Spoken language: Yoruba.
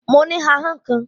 Mo ní ahọ́n kan